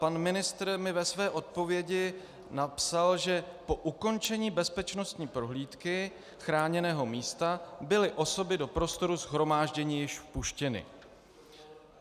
Pan ministr mi ve své odpovědi napsal, že po ukončení bezpečnostní prohlídky chráněného místa byly osoby do prostoru shromáždění již vpuštěny.